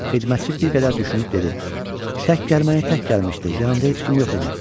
Xidmətçi bir qədər düşünüb dedi: Tək gəlməyi tək gəlmişdi, yanında heç kim yox idi.